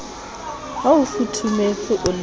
ha o futhumetse o le